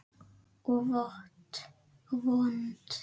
Og vont.